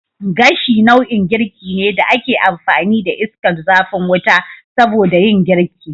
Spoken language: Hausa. Gashi nau'in girki ne da ake amfani da iskar zafin wuta soboda yin girki